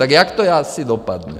Tak jak to asi dopadne?